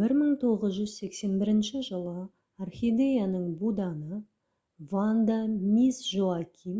1981 жылы орхидеяның буданы ванда мисс жоаким